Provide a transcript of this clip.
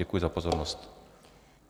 Děkuji za pozornost.